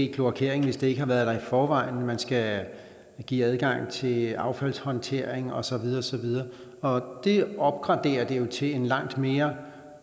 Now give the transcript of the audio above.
kloakering hvis det ikke er der i forvejen man skal give adgang til affaldshåndteringen og så videre og så videre og det opgraderer det jo til en langt mere